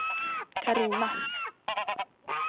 Carina